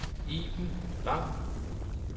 Iben Lang